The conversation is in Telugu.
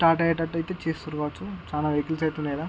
టాటా అయ్యేటట్టు ఐతే తీసుకొనవచ్చు.చానా వెహికల్స్ ఐతే ఉన్నాయి ఈడ.